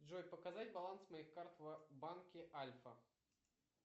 джой показать баланс моих карт в банке альфа